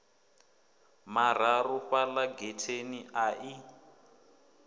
mararu fhala getheni a i